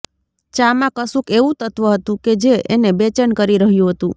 ચા માં કશુંક એવું તત્ત્વ હતું કે જે એને બેચેન કરી રહ્યું હતું